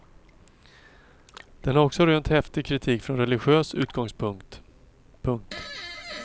Den har också rönt häftig kritik från religiös utgångspunkt. punkt